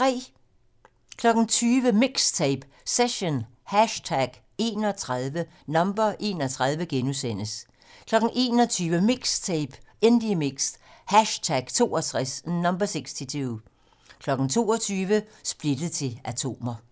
20:00: MIXTAPE - Session #31 * 21:00: MIXTAPE - Indiemix #62 22:00: Splittet til atomer